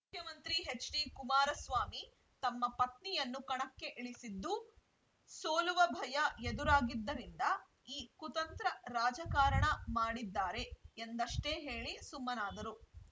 ಮುಖ್ಯಮಂತ್ರಿ ಎಚ್‌ಡಿಕುಮಾರಸ್ವಾಮಿ ತಮ್ಮ ಪತ್ನಿಯನ್ನು ಕಣಕ್ಕೆ ಇಳಿಸಿದ್ದು ಸೋಲುವ ಭಯ ಎದುರಾಗಿದ್ದರಿಂದ ಈ ಕುತಂತ್ರ ರಾಜಕಾರಣ ಮಾಡಿದ್ದಾರೆ ಎಂದಷ್ಟೇ ಹೇಳಿ ಸುಮ್ಮನಾದರು